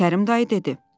Kərim dayı dedi.